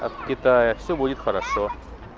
от китая все будет хорошо